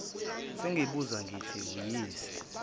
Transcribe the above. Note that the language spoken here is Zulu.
sengibuza ngithi uyisa